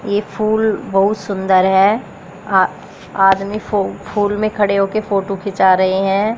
ये फूल बहुत सुंदर है अ आदमी फू फूल में खड़े होकर फोटो खींचा रहे हैं।